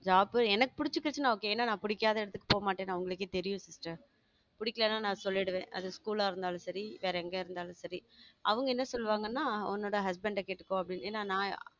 Job எனக்கு பிடிச்சிகிச்சு நா okay ஏன்னா நான் பிடிக்காத இடத்துக்கு போக மாட்டேன்னு அவங்களுக்கே தெரியும் sister பிடிக்கலைன்னா நான் சொல்லிடுவேன் அது school ஆ இருந்தாலும் சரி வேற எங்க இருந்தாலும் சரி அவங்க என்ன சொல்லுவாங்கன்னா உன்னோட husband அ கேட்டுக்கோ அப்படின்னு என்ன நா